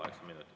Kaheksa minutit.